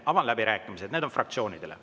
Avan läbirääkimised, mis on fraktsioonidele.